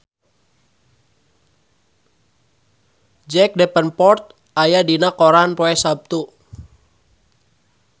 Jack Davenport aya dina koran poe Saptu